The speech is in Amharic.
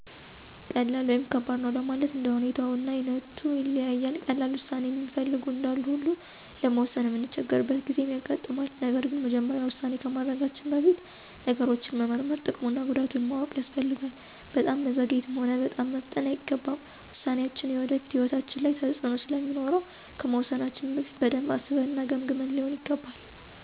ቀላል ወይም ከባድ ነው ለማለት እንደ ሁኔታው እና አይነቱ ይለያያል። ቀላል ዉሳኔ እሚፈልጉ እንዳሉ ሁላ ለመወሰን እምንቸገርበት ጊዜም ያጋጥማል። ነገር ግን መጀመሪያ ዉሳኔ ከማድረጋችን በፊት ነገሮችን መመርመር፤ ጥቅም እና ጉዳቱን ማወቅ ያስፈልጋል። በጣምም መዘግየት ሆነ በጣምም መፍጠን አይገባም። ውሳኔያችን የወደፊት ሕይወታችን ላይ ተፅእኖ ስለሚኖረው ከመወሰናችን በፊት በደንብ አስበን እና ገምግመን ሊሆን ይገባል።